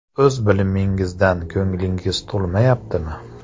O‘z bilimingizdan ko‘nglingiz to‘lmayaptimi?